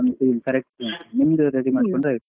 Correct ಉಂಟು ನಿಮ್ದು ready ಮಾಡ್ಕೊಂಡ್ರೆ ಆಯ್ತು.